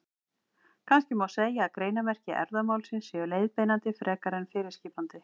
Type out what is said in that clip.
Kannski má segja að greinarmerki erfðamálsins séu leiðbeinandi frekar en fyrirskipandi.